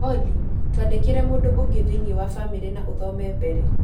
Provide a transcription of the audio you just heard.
Olly, twandĩkĩre mũndũ ũngĩ thĩinĩ wa famĩlĩ na ũthome mbere